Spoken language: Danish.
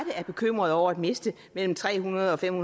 er bekymrede over at miste mellem tre hundrede og fem